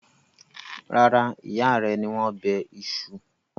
Rárá, ìyá rẹ ni wọ́n bẹ iṣu.